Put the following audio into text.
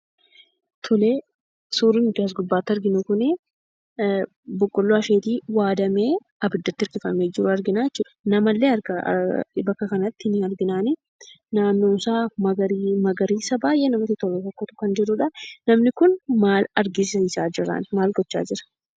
Tole, suurri nuti as gubbaatti arginu kunii boqqoolloo asheetii waaddamee, ibiddatti hirkifamee jiru arginaa jechuudha. Namallee bakka kanatti ni arginaanii naannoonsaa magariisa baayyee namatti tolu tokkotu kan jirudhaa namni kun maal agarsiisaa jira maal gochaa jiraan?